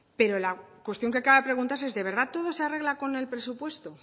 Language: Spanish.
pero la cuestión que acaba de preguntarse es de verdad todo se arregla con el presupuesto